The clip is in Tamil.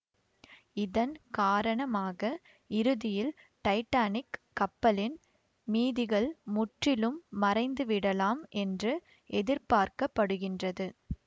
இதன் காரணமாக இறுதியில் டைட்டானிக் கப்பலின் மீதிகள் முற்றிலும் மறைந்துவிடலாம் என்று எதிர்பார்க்க படுகின்றது